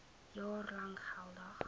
jaar lank geldig